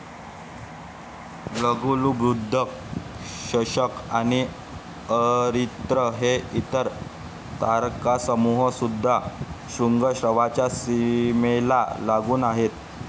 लघुलुब्धक, शशक आणि अरित्र हे इतर तारकासमूह सुद्धा श्रुंगाश्वच्या सीमेला लागून आहेत.